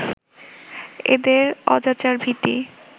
এদের অজাচার ভীতি